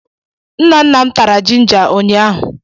Nna nna m tara jinja ụnyaahụ.